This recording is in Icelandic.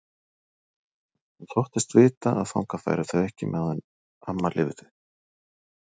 Hún þóttist vita að þangað færu þau ekki meðan amma lifði.